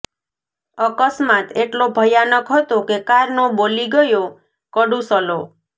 અકસ્માત એટલો ભયાનક હતો કે કારનો બોલી ગયો કડૂસલો